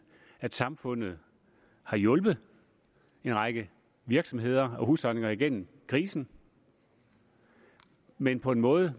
at samfundet har hjulpet en række virksomheder og husholdninger igennem krisen men på en måde